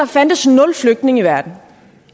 fandtes nul flygtninge i verden